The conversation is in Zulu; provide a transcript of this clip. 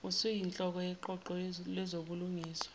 usuyinhloko yeqoqo lezobulungiswa